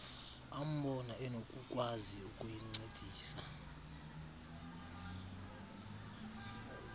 ambona enokukwazi ukuyincedisa